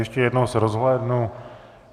Ještě jednou se rozhlédnu.